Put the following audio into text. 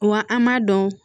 Wa an m'a dɔn